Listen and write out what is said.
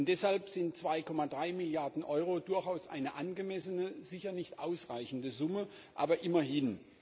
Deshalb sind 2,3 Milliarden Euro durchaus eine angemessene sicher nicht ausreichende Summe, aber immerhin.